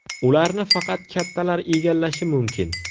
Ularni faqat kattalar egallashi mumkin.